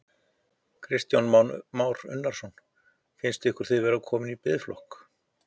Kristján Már Unnarsson: Finnst ykkur þið vera komnir í biðflokk?